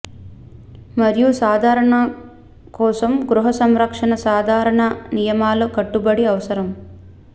మరియు సాధారణ కోసం గృహ సంరక్షణ సాధారణ నియమాల కట్టుబడి అవసరం